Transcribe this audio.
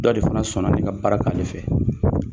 Dɔ de fana sɔnna nin ka baara kɛ ale fɛ